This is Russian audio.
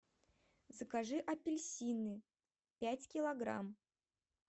закажи апельсины пять килограмм